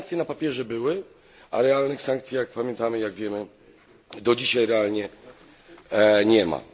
Te sankcje na papierze były, a realnych sankcji jak pamiętamy, jak wiemy do dzisiaj realnie nie ma.